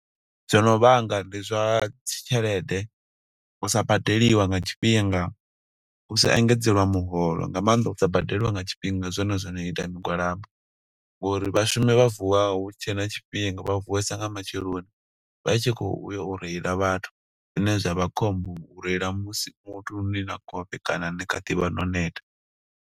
Zwo no vhanga ndi zwa dzi tshelede, u sa badeliwa nga tshifhinga, u sa engedzelwa miholo, nga maanḓa u sa badeliwa nga tshifhinga. Ndi zwone zwono ita migwalabo, ngo uri vhashumi vha vuwa hu tshe na tshifhinga. Vha vuwesa nga matsheloni, vha tshi khou ya y reila vhathu. Zwine zwa vha khombo, u reila musi muthu ni na khofhe kana ni kha ḓi vha no neta.